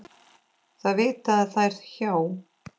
Það vita þær hjá